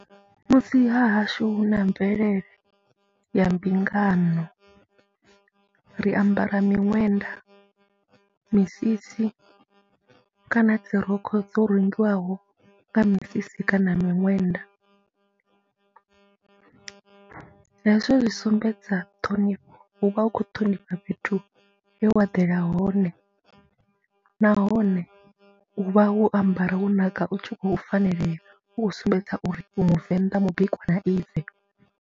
Musi ha hashu hu na mvelele ya mbingano ri ambara miṅwenda, misisi kana dzi rokho dzo rungiwaho nga misisi kana miṅwenda , hezwo zwi sumbedza ṱhonifho, hu vha hu khou ṱhonifha fhethu he wa ḓela hone nahone u vha wo ambara wo naka u tshi khou fanelea, u khou sumbedza uri u Muvenḓa mu bikwa na ive.